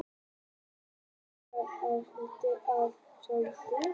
Sjá einnig: Tufa: Skipting eins og í körfuboltanum